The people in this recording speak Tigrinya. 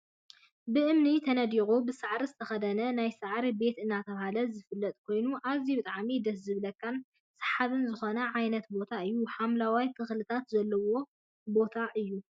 ብእምኒ ተነዲቁ ብሳዕሪ ዝተከደና ናይ ሳዕሪ ቤት እናተባህለ ዝፍለጥ ኮይኑን ኣዝዩ ብጣዕሚ ደስ ዝብላካን ስሓብን ዝኮነ ዓይነት ቦታ እዩ። ሓምለዋይን ተክልታት ዘለዎ ቦታ እዩ።